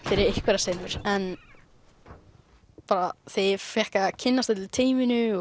fyrir einhverjar senur en þegar ég fékk að kynnast öllu teyminu